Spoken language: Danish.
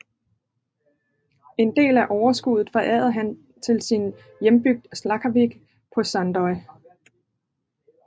En del af overskudet forærede han til sin hjembygd Skálavík på Sandoy